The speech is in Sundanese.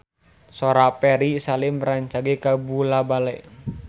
Sora Ferry Salim rancage kabula-bale